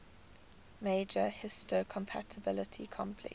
major histocompatibility complex